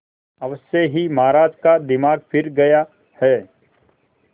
अवश्य ही महाराज का दिमाग फिर गया है